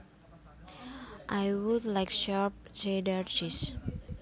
I would like sharp Cheddar cheese